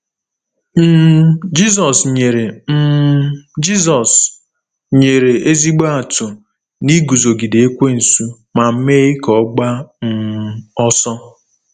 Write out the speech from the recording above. um Jizọs nyere um Jizọs nyere ezigbo atụ na iguzogide Ekwensu ma mee ka ọ gbaa um ọsọ.